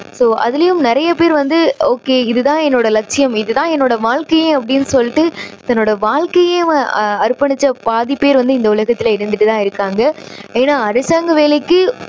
அதுலேயும் நிறைய பேர் வந்து okay இது தான் என்னோட லட்சியம் இது தான் என்னோட வாழ்க்கையே அப்படின்னு சொல்லிட்டு தன்னோட வாழ்க்கையே அ~அர்ப்பணிச்ச பாதி பேர் இந்த உலகத்துல இருந்துட்டு தான் இருக்காங்க. ஏன்னா அரசாங்க வேலைக்கு